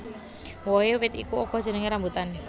Wohé wit iku uga jenengé rambutan